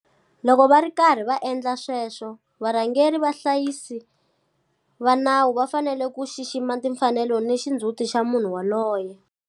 Loko va ri karhi va endla sweswo, varhangeri vahlayisi va nawu va fanele ku xixima timfanelo ni xindzhuti xa munhu yoloye.